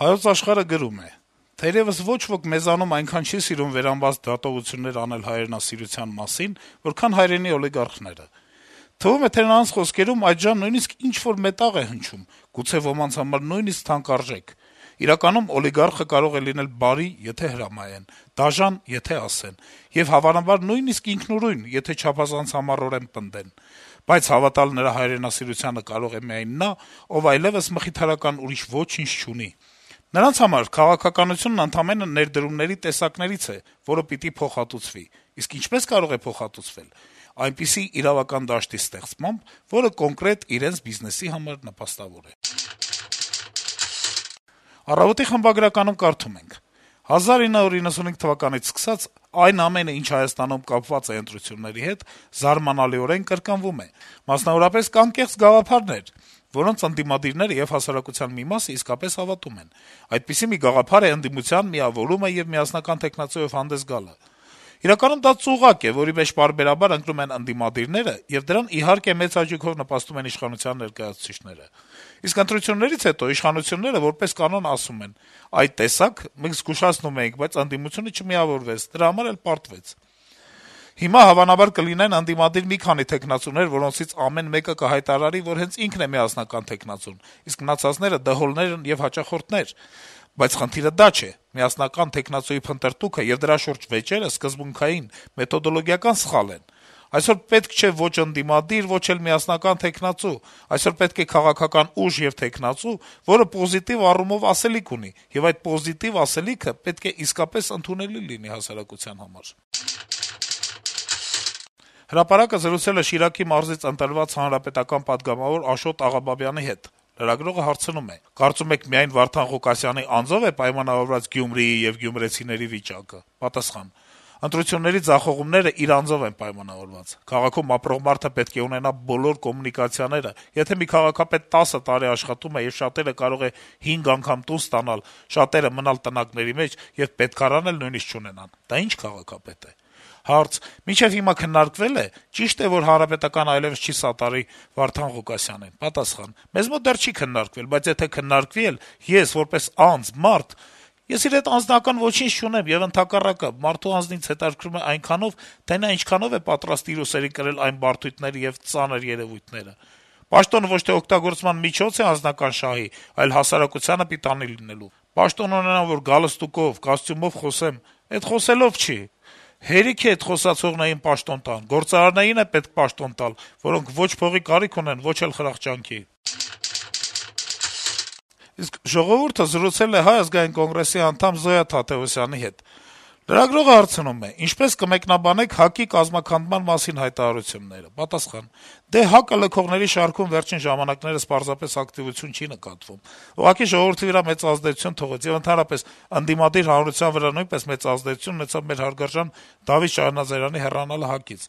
«Հայոց Աշխարհ»-ը գրում է. - «Թերեւս ոչ ոք մեզանում այնքան չի սիրում վերամբարձ դատողություններ անել սեփական հայրենասիրության մասին, որքան հայրենի օլիգարխները։ Թվում է, թե նրանց խոսքերում այդժամ նույնիսկ ինչ-որ մետաղ է հնչում, գուցե, ոմանց համար նույնիսկ թանկարժեք։ Իսկ իրականում օլիգարխը կարող է լինել բարի, եթե հրամայեն, դաժան, եթե ասեն, եւ, հավանաբար, նույնիսկ ինքնուրույն, եթե չափազանց համառորեն պնդեն։ Բայց հավատալ նրա հայրենասիրությանը կարող է միայն նա, ով այլեւս մխիթարական ուրիշ ոչինչ չունի։ Նրանց համար քաղաքականությունն ընդամենը ներդրումների տեսակներից է, որը պիտի փոխհատուցվի։ Իսկ ինչպե՞ս կարող է փոխհատուցվել։ Այնպիսի իրավական դաշտի ստեղծմամբ, որը կոնկրետ իրենց բիզնեսի համար նպաստավոր է»։ «Առավոտ»-ի խմբագրականում կարդում ենք. - «1995 թվականից սկսած՝ այն ամենը, ինչը Հայաստանում կապված է ընտրությունների հետ, զարմանալիորեն կրկնվում է: Մասնավորապես, կան կեղծ գաղափարներ, որոնց ընդդիմադիրները եւ հասարակության մի մասը իսկապես հավատում են. այդպիսի մի գաղափար է ընդդիմության միավորումը եւ միասնական թեկնածուով հանդես գալը: Իրականում դա ծուղակ է, որի մեջ պարբերաբար ընկնում են ընդդիմադիրները, եւ դրան, իհարկե, մեծ հաճույքով նպաստում են իշխանության ներկայացուցիչները: Իսկ ընտրություններից հետո իշխանությունները, որպես կանոն, ասում են՝ «այ, տեսաք, մենք զգուշացնում էինք, բայց ընդդիմությունը չմիավորվեց, դրա համար էլ պարտվեց»: Հիմա, հավանաբար, կլինեն ընդդիմադիր մի քանի թեկնածուներ, որոնցից ամեն մեկը կհայտարարի, որ հենց ինքն է միասնական թեկնածուն, իսկ մնացածը դհոլներ են ու հաճախորդներ: Բայց խնդիրը դա չէ. միասնական թեկնածուի փնտրտուքը եւ դրա շուրջ վեճերը սկզբունքային, մեթոդոլոգիական սխալ են: Այսօր պետք չէ ոչ ընդդիմադիր, ոչ էլ միասնական թեկնածու: Այսօր պետք է քաղաքական ուժ եւ թեկնածու, որը պոզիտիվ առումով ասելիք ունի, եւ այդ պոզիտիվ ասելիքը պետք է իսկապես ընդունելի լինի հասարակության համար»: «Հրապարակ»-ը զրուցել է Շիրակի մարզից ընտրված պատգամավոր Աշոտ Աղաբաբյանի (ՀՀԿ) հետ: Լրագրողը հարցնում է. - «Կարծում եք միայն Վարդան Ղուկասյանի անձո՞վ է պայմանավորված Գյումրիի եւ գյումրեցիների վիճակը»: Պատասխան. - «Ընտրությունների ձախողումներն իր անձով են պայմանավորված: Քաղաքում ապրող մարդը պետք է ունենա բոլոր կոմունիկացիաները: Եթե մի քաղաքապետ 10 տարի աշխատում է, եւ շատերը կարող են 5 անգամ տուն ստանալ, շատերը մնալ տնակների մեջ եւ պետքարան էլ նույնիսկ չունենան, դա ի՞նչ քաղաքապետ է»: Հարց. - «Մինչեւ հիմա քննարկվե՞լ է, ճի՞շտ է, որ ՀՀԿ-ն այլեւս չի սատարի Վարդան Ղուկասյանին»: Պատասխան. - «Մեզ մոտ դեռ չի քննարկվել, բայց եթե քննարկվի էլ, ես, որպես անձ, մարդ… (ես իր հետ անձնական ոչինչ չունեմ, եւ ընդհանրապես մարդու անձն ինձ հետաքրքրում է այնքանով, թե նա ինչքանով է պատրաստ իր ուսերին կրել այն բարդույթները եւ ծանր երեւույթները)…Պաշտոնը ոչ թե օգտագործման միջոց է անձնական շահի, այլ հասարակությանը պիտանի լինելու: Պաշտոն ունենամ, որ գալստուկով, կոստյումով խոսեմ, էդ խոսելով չի, հերիք է այդ խոսացողներին պաշտոն տան, գործարարներին է պետք պաշտոն տալ, որոնք ոչ փողի կարիք ունեն, ոչ խրախճանքի»: «Ժողովուրդ»-ը զրուցել է Հայ ազգային կոնգրեսի անդամ Զոյա Թադեւոսյանի հետ: Լրագրողը հարցնում է. - «Ինչպե՞ս կմեկնաբանեք ՀԱԿ-ի կազմաքանդման մասին հայտարարությունները»: Պատասխան. - «Դե ՀԱԿ-ը լքողների շարքում վերջին ժամանակներս պարզապես ակտիվություն չի նկատվում: Ուղղակի ժողովրդի վրա մեծ ազդեցություն թողեց եւ ընդդիմադիր հանրության վրա նույնպես մեծ ազդեցություն ունեցավ մեր հարգարժան Դավիթ Շահնազարյանի հեռանալը ՀԱԿ-ից: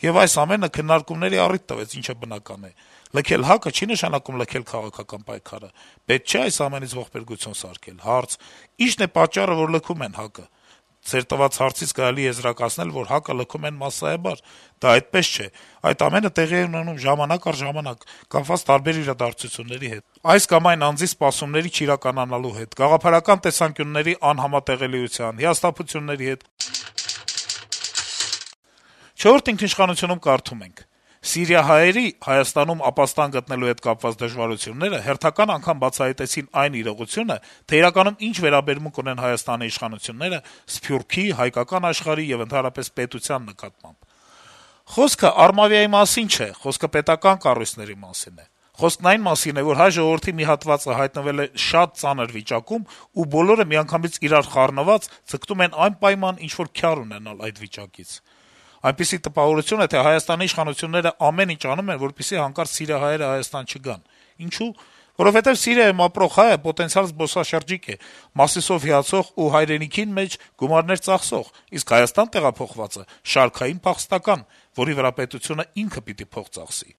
Եվ այս ամենը քննարկումների առիթ տվեց, ինչը բնական է: Լքել ՀԱԿ-ը, չի նշանակում լքել քաղաքական պայքարը: Պետք չէ այս ամենից ողբերգություն սարքել»: Հարց. - «Ի՞նչն է պատճառը, որ լքում են ՀԱԿ-ը»: Պատասխան. - «Ձեր տված հարցից կարելի է եզրակացնել, որ ՀԱԿ-ը լքում են մասսայաբար: Դա այդպես չէ, այդ ամենը տեղի է ունենում ժամանակ առ ժամանակ` կապված տարբեր իրադարձությունների հետ, այս կամ այն անձի սպասումների չիրականանալու հետ, գաղափարական տեսանկյունների անհամատեղելիության, հիասթափությունների հետ»: «Չորրորդ ինքնիշխանություն»-ում կարդում ենք. - «Սիրիահայերի` Հայաստանում ապաստան գտնելու հետ կապված դժվարությունները հերթական անգամ բացահայտեցին այն իրողությունը, թե իրականում ինչ վերաբերմունք ունեն Հայաստանի իշխանությունները Սփյուռքի, «հայկական աշխարհի», եւ ընդհանրապես պետության նկատմամբ: Խոսքը «Արմավիա»-ի մասին չէ, խոսքը պետական կառույցների մասին է: Խոսքն այն մասին է, որ հայ ժողովրդի մի հատվածը հայտնվել է շատ ծանր իրավիճակում, ու բոլորը միանգամից իրար խառնված ձգտում են անպայման ինչ-որ «քյար ունենալ» այդ վիճակից: Այնպիսի տպավորություն է, թե Հայաստանի իշխանությունները ամեն ինչ անում են, որպեսզի հանկարծ սիրիահայերը Հայաստան չգան: Ինչո՞ւ: Որովհետեւ Սիրիայում ապրող հայը պոտենցիալ զբոսաշրջիկ է` Մասիսով հիացող եւ«հայրենիքին մեջ» գումարներ ծախսող, իսկ Հայաստան տեղափոխվածը` շարքային փախստական, որի վրա պետությունը ինքի պիտի փող ծախսի»: